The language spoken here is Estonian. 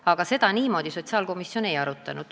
Aga seda sotsiaalkomisjon ei arutanud.